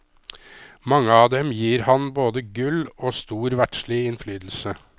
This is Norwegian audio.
Mange av dem gir han både gull og stor verdslig innflytelse.